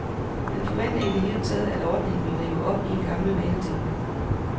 Han forventer i det hele taget, at ordningen vil rive op i gammel vanetænkning.